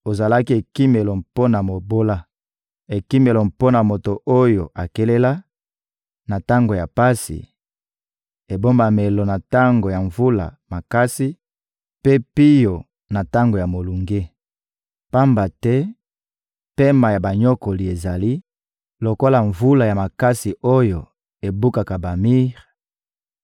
Ozalaki ekimelo mpo na mobola, ekimelo mpo na moto oyo akelela, na tango ya pasi, ebombamelo na tango ya mvula makasi mpe pio na tango ya molunge. Pamba te pema ya banyokoli ezali lokola mvula ya makasi oyo ebukaka bamir;